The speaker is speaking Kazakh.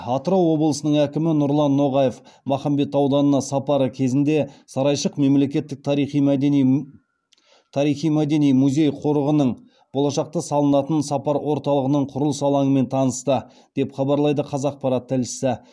атырау облысының әкімі нұрлан ноғаев махамбет ауданына сапары кезінде сарайшық мемлекеттік тарихи мәдени музей қорығының болашақта салынатын сапар орталығының құрылыс алаңымен танысты деп хабарлайды қазақпарат тілшісі